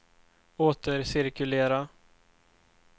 återcirkulera